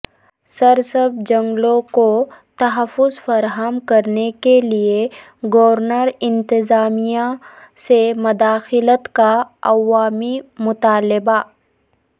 سرسبز جنگلوں کو تحفظ فراہم کرنے کیلئے گورنر انتظامیہ سے مداخلت کا عوامی مطالبہ